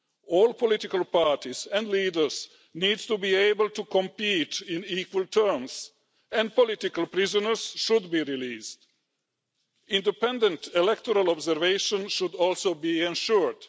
All political parties and leaders need to be able to compete on equal terms, and political prisoners should be released. Independent electoral observation should also be ensured.